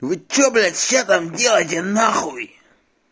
вы что блять там все делаете нахуй